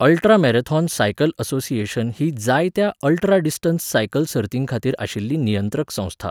Ultramarathon cycle association ही जायत्या ultradistance cycle सर्तींखातीर आशिल्ली नियंत्रक संस्था.